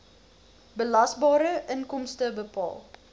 belasbare inkomste bepaal